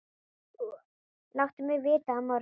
Láttu mig vita á morgun.